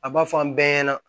A b'a fɔ an bɛɛ ɲɛna